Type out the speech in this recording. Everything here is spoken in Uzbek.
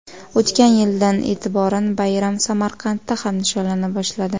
O‘tgan yildan e’tiboran bayram Samarqandda ham nishonlana boshladi.